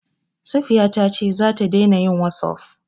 Safiya ta ce za ta daina yin wossof.